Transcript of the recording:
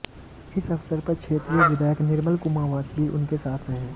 इस अवसर पर क्षेत्रीय विधायक निर्मल कुमावत भी उनके साथ रहे